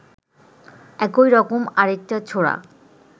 একই রকম আরেকটা ছোরা